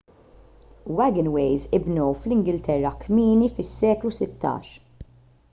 wagonways inbnew fl-ingilterra kmieni fis-seklu 16